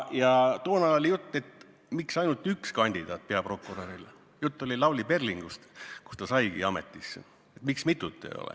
Ja toona oli jutt, miks on ainult üks kandidaat peaprokuröri kohale – jutt oli Lavly Perlingust, kes saigi ametisse –, miks mitut ei ole.